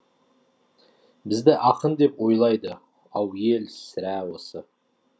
бізді ақын деп ойлайды ау ел сірә осы